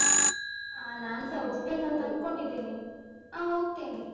ಹ ನಾನ್ಸ ಅನ್ಕೋಂಡಿದೇನೆ. ಆ ಹೋಗ್ತೆನೆ.